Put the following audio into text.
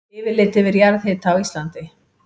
Yfirlit yfir jarðhita á Íslandi.